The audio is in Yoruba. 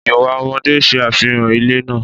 Ìwà ọmọdé ṣe àfihàn ilé náà.